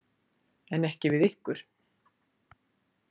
En ekki við ykkur.